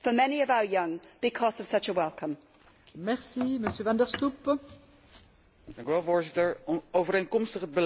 Voorzitter, overeenkomstig het beleid van het Nederlandse kabinet ben ik van mening dat Roemenië en Bulgarije niet toegelaten moeten worden tot het Schengen gebied.